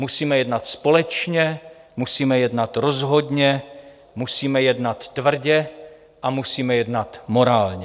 Musíme jednat společně, musíme jednat rozhodně, musíme jednat tvrdě a musíme jednat morálně.